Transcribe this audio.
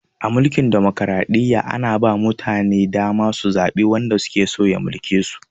A mulkin dimokraɗiyya, ana ba ma mutane dama su zaɓi wanda suke so ya mulke su.